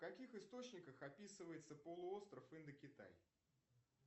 к каких источниках описывается полуостров индокитай